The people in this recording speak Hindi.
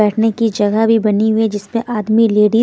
बैठने की जगह भी बनी हुई है जिसमें आदमी लेडी --